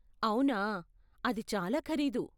అవునా, అది చాలా ఖరీదు.